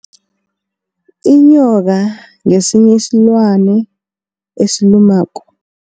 Inyoka ngesinye isilwana esilumako.